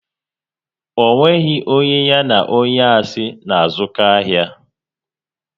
Ọ nweghị onye ya na onye asị na-azụko ahia